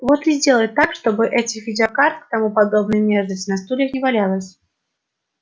вот и сделай так чтобы этих видеокарт и тому подобной мерзости на стульях не валялось